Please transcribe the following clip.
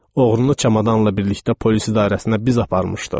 Oğrunu çamadanla birlikdə polis idarəsinə biz aparmışdıq.